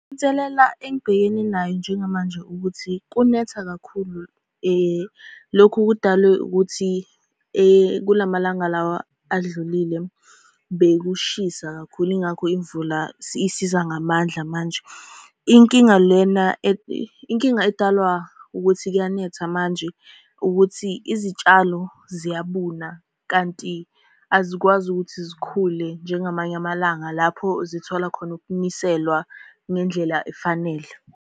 Inselela engibhekene nayo njengamanje ukuthi, kunetha kakhulu lokhu kudalwe ukuthi kulamalanga lawa adlulile bekushisa kakhulu, yingakho imvula isiza ngamandla manje. Inkinga lena inkinga edalwa ukuthi kuyanetha manje ukuthi izitshalo ziyabuna, kanti azikwazi ukuthi zikhule njengamanye amalanga lapho zithola khona ukuniselwa ngendlela efanele.